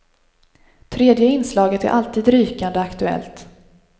Tredje inslaget är alltid rykande aktuellt.